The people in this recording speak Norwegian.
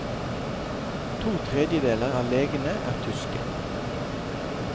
To tredjedeler av legene er tyske.